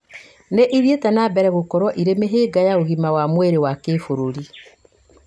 nĩ ithiĩte na mbere gũkorwo irĩ mĩhĩnga ya ũgima wa mwĩrĩ wa kĩĩbũrũri